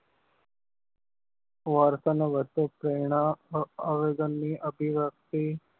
વર્તન ઓ વચ્ચે પ્રેરણા આયોજન ની અભિવ્યક્તિ